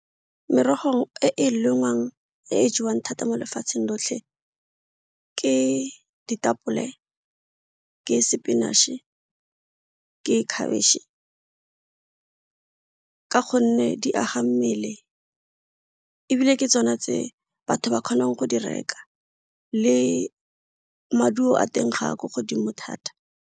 Merogo e e lengwang e jewang thata mo lefatsheng lotlhe ke ditapole, ke spinach-e, ke khabetšhe ka gonne di aga mmele ebile ke tsone tse batho ba kgonang go di reka le maduo a teng ga a ko godimo thata.